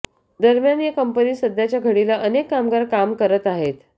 दरम्यान या कंपनीत सध्याच्या घडीला अनेक कामगार करत आहेत